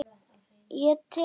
Ég tel.